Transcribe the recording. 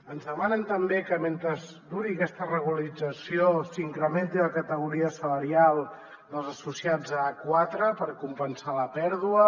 ens demanen també que mentre duri aquesta regularització s’incrementi la categoria salarial dels associats a a4 per compensar la pèrdua